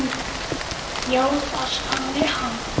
Já, það sagði hann.